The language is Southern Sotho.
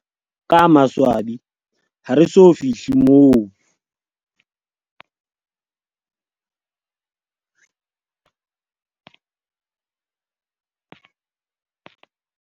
Ka maswabi, ha re so fihle moo.